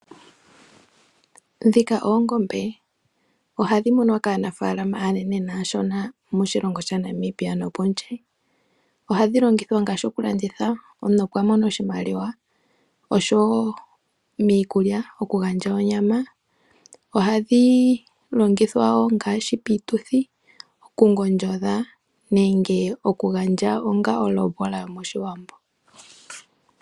Oongombe ohadhi munwa kaanafalama aanene nashona moshilongo sha Namibia nopondje, ohadhi longithwa ngashi okulanditha omuntu opo amone oshimaliwa osho wo miikulya okugandja onyama , ohadhi longithwa ongashi pituthi oku ngondjodha nenge okugandja onga ondjombola moshiwambo.